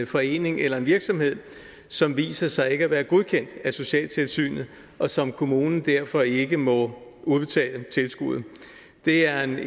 forening eller en virksomhed som viser sig ikke at være godkendt af socialtilsynet og som kommunen derfor ikke må udbetale tilskud det er en